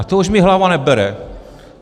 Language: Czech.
A to už mi hlava nebere.